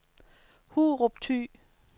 Hurup Thy